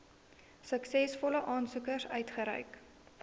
suksesvolle aansoekers uitgereik